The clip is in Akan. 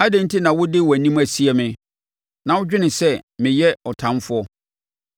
Adɛn enti na wode wʼanim asie me na wodwene sɛ meyɛ wo ɔtamfoɔ?